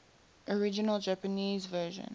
original japanese version